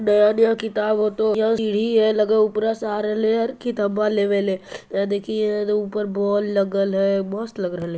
नया-नया किताब हो तो यह सीढ़ी है लगा ह उपरे से आ रहले हे कितबा लेबे ले | या देखिए ऊपर बाल लागल है मस्त लग रहले है |